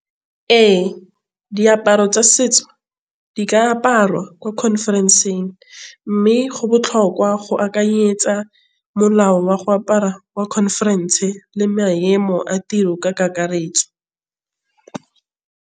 Ee, diaparo tsa setso di ka aparwa ko conference-ng mme go botlhokwa go akanyetsa molao wa go apara wa conference le maemo a tiro ka kakaretso.